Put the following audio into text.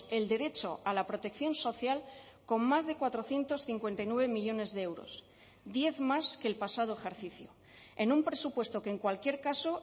el derecho a la protección social con más de cuatrocientos cincuenta y nueve millónes de euros diez más que el pasado ejercicio en un presupuesto que en cualquier caso